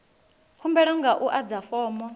khumbelo nga u adza fomo